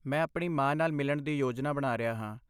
ਮੈਂ ਆਪਣੀ ਮਾਂ ਨਾਲ ਮਿਲਣ ਦੀ ਯੋਜਨਾ ਬਣਾ ਰਿਹਾ ਹਾਂ।